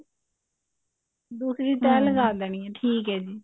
ਦੂਸਰੀ ਤੇਂਹ ਲਗਾ ਦੇਣੀ ਠੀਕ ਹੈ ਜੀ